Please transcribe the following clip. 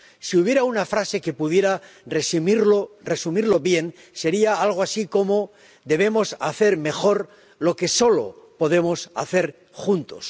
Si hubiera una frase que pudiera resumirlo bien, sería algo así como debemos hacer mejor lo que solo podemos hacer juntos.